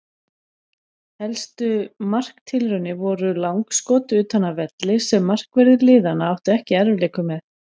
Helstu marktilraunir voru langskot utan af velli sem markverðir liðanna áttu ekki í erfiðleikum með.